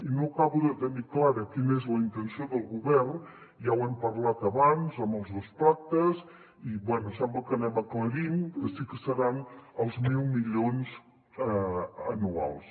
i no acabo de tenir clara quina és la intenció del govern ja ho hem parlat abans amb els dos pactes i bé sembla que anem aclarint que sí que seran els mil milions anuals